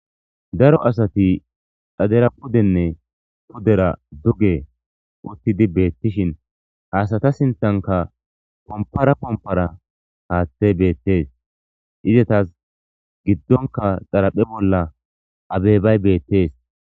daro asati dhadera pudenne pudera duge uttidi beettishin haasata sinthanka pompara pompara haaththey beettees izetas giddonka xaraphe bolla abeebay beettees